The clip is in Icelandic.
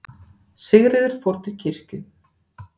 Sigríður fór til kirkju.